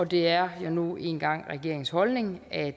det er nu engang regeringens holdning at